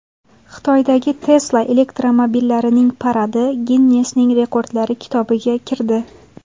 Xitoydagi Tesla elektromobillarining paradi Ginnesning rekordlari kitobiga kirdi.